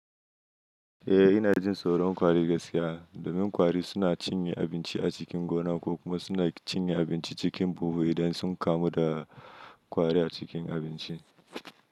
Eh, ina jin tsoron kwari gaskiya. Domin kwari suna cinye abinci a cikin gona ko kuma suna cinye abinci cikin buhu idan sun kamu da kwari a cikin abinci.